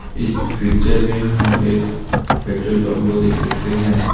इस पिक्चर में हम एक पेट्रोल पंप को देख सकते हैं।